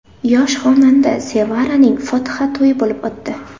Yosh xonanda Sevaraning fotiha to‘yi bo‘lib o‘tdi.